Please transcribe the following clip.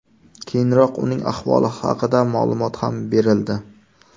Keyinroq uning ahvoli haqida ma’lumot ham berildi .